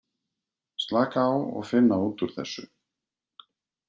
Slaka á og finna út úr þessu.